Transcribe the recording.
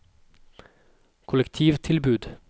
kollektivtilbud